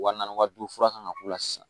Wa naani wa duuru fura kan ka k'u la sisan